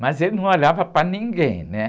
Mas ele não olhava para ninguém, né?